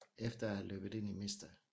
Efter at have løbet ind i Mr